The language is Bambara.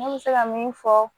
Ne bɛ se ka min fɔ